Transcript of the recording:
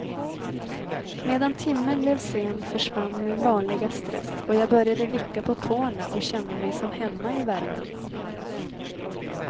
Medan timmen blev sen försvann min vanliga stress och jag började vicka på tårna och känna mig som hemma i värmen.